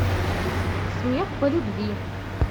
смех по любви